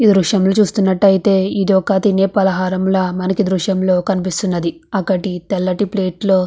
ఈ దృశ్యాన్ని చూస్తున్నట్లయితే ఇది ఒక తినే పలహారంగా మనకి దృశ్యంలో కనిపిస్తూ ఉన్నది. అక్కటి ఒక తెల్లటి ప్లేట్ లో --